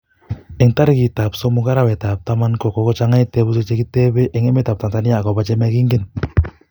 eng tarikit ak somok arawe tab taman ko kokochang tebutiik chekokutebei eng emetab Tanzania akob chemokingen